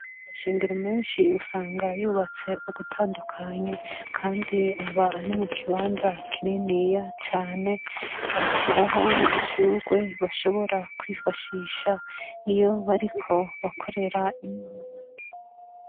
Amashengero menshi usanga yubatse ugutandukanye, Kandi aba ari mukibanza kininiya cane bagashiraho n’udushurwe bashobora kwifashisha iyo bariko bakorera Imana